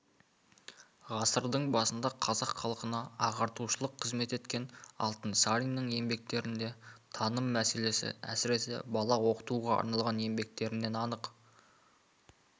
ғасырдың басында қазақ халқына ағартушылық қызмет еткен алтынсариннің еңбектеріндегі таным мәселелесі әсіресе бала оқытуға арналған еңбектерінен анық